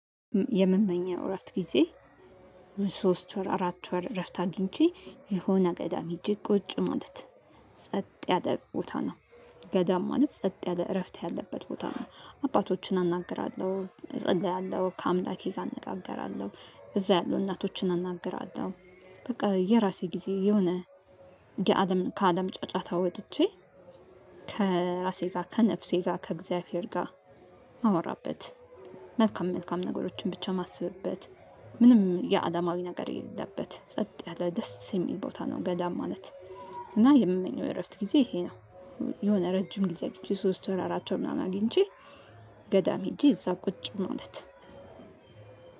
የእምመኘው እፍትት ጊዜ ለሶስት ወር አራት ወር እረፍት አግኝቼ የሆነ ገዳም ሄጄ ቁጭ ማለት ጸጥ ያለ ቦታ ነው። ገዳም ማለት ጸጥ ያለ እረፍት ያለበት ቦታ ነው። አባቶችን አናግራለሁ እጸልያለሁ ከአምላኬ ጋ እንጋገራለሁ እዛ ያሉ እናቶችን አናግራለሁ። በቃ የራሴ ጊዜ የሆነ ከአለም ጫጫታ ወጥቼ። ከራሴ ጋር ከነፍሴ ጋ ከእግዚአብሔር ጋ እማወራበት። መልካም መልካም ነገሮችን ብቻ እማስብበት። ምንም የአለማዊ ነገር የለለበት ጸጥ ያለ ደስ እሚል ቦታ ነው ገዳም ማለት እና የምመኘው የእረፍት ጊዜ ይሄ ነው። የሆነ ረጅም ጊዜ ሶስት ወር አራት ወር አግኝቼ ገዳም ሄጄ እዛ ቁጭ ማለት